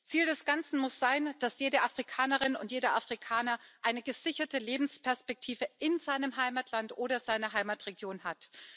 Ziel des Ganzen muss sein, dass jede Afrikanerin und jeder Afrikaner eine gesicherte Lebensperspektive in seinem Heimatland oder seiner Heimatregion hat.